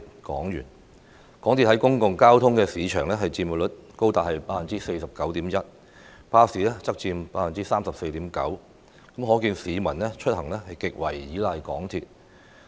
港鐵公司在公共交通市場的佔有率高達 49.1%， 巴士則佔 34.9%， 可見市民出行極為依賴港鐵。